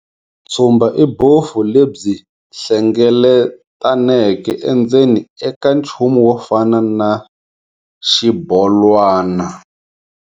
Tshumba i bofu lebyi hlengletaneke endzeni eka nchumu wo fana na xibolwana.